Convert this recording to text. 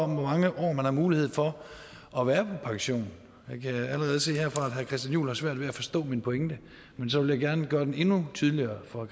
mange år man har mulighed for at være pension jeg kan allerede se herfra at herre christian juhl har svært ved at forstå min pointe men så vil jeg gerne gøre den endnu tydeligere for